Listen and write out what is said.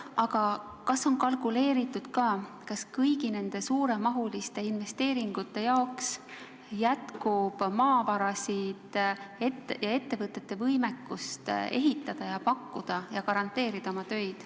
Aga kas on kalkuleeritud, kas kõigi nende suuremahuliste investeeringute jaoks jätkub maavarasid ning kas ettevõtted on võimelised ehitama ja oma tööd garanteerima?